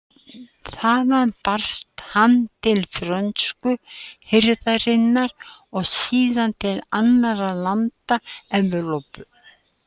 Þaðan barst hann til frönsku hirðarinnar og síðan til annarra landa Evrópu.